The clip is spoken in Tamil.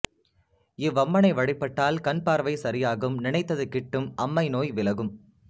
இவ்வம்மனை வழிபட்டால் கண் பார்வை சரியாகும் நினைத்தது கிட்டும் அம்மை நோய் விலகும்